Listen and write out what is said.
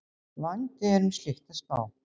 Vandi er um slíkt að spá